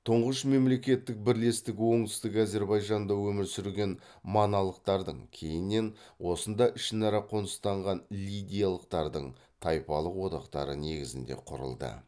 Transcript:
тұңғыш мемлекеттік бірлестік оңтүстік әзірбайжанда өмір сүрген маналықтардың кейіннен осында ішінара қоныстанған лидиялықтардың тайпалық одақтары негізінде құрылды